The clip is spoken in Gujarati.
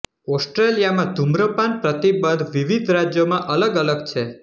ઓસ્ટ્રેલિયામાં ધૂમ્રપાન પ્રતિબંધ વિવિધ રાજ્યોમાં અલગ અલગ છે